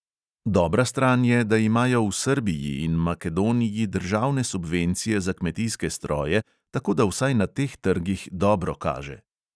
Dobra stran je, da imajo v srbiji in makedoniji državne subvencije za kmetijske stroje, tako da vsaj na teh trgih dobro kaže.